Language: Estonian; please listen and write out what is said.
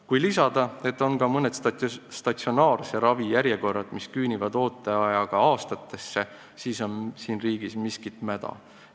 Kui lisada, et ka mõne statsionaarse ravi ooteaeg küünib aastatesse, siis on selge, et siin riigis on miskit mäda.